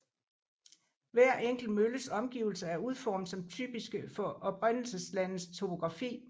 Hver enkelt mølles omgivelser er udformet som typiske for oprindelseslandets topografi